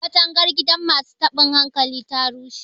katagar gidan masu tabin hankali ta rushe